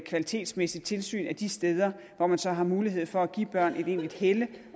kvalitetsmæssigt tilsyn af de steder hvor man så har mulighed for at give børn et egentligt helle